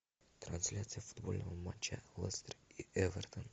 трансляция футбольного матча лестер и эвертон